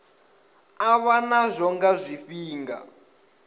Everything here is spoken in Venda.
u vha nazwo nga zwifhinga